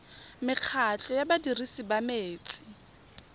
mekgatlho ya badirisi ba metsi